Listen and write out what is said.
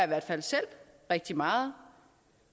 hvert fald selv rigtig meget